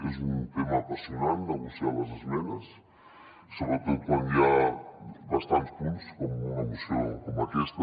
és un tema apassionant negociar les esmenes sobretot quan hi ha bastants punts com en una moció com aquesta